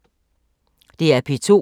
DR P2